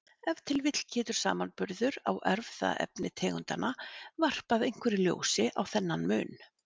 Ef til vill getur samanburður á erfðaefni tegundanna varpað einhverju ljósi á þennan mun.